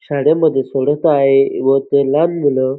शाळेमध्ये सोडत आहे व ते लहान मूल --